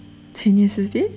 сенесіз бе